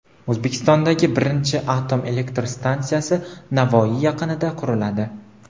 O‘zbekistondagi birinchi atom elektr stansiyasi Navoiy yaqinida quriladi.